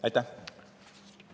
Aitäh!